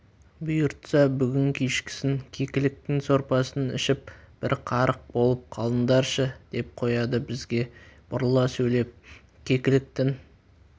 бұйыртса бүгін кешкісін кекіліктің сорпасын ішіп бір қарық болып қалыңдаршы деп қояды бізге бұрыла сөйлеп кекіліктің